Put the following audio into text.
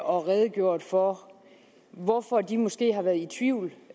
og redegjort for hvorfor de måske har været i tvivl